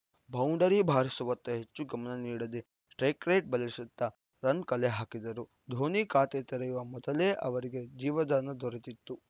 boundary ಬಾರಿಸುವತ್ತಾ ಹೆಚ್ಚು ಗಮನ ನೀಡದೆ ಸ್ಟ್ರೈಕ್ ರೇಟ್ ಬದಲಿಸುತ್ತಾ ರನ್‌ ಕಲೆಹಾಕಿದರು ಧೋನಿ ಖಾತೆ ತೆರೆಯುವ ಮೊದಲೇ ಅವರಿಗೆ ಜೀವದಾನ ದೊರೆತ್ತಿತ್ತು